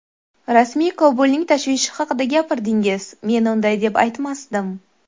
Rasmiy Kobulning tashvishi haqida gapirdingiz, men unday deb aytmasdim.